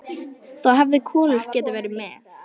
Þá hefði Kolur getað verið með.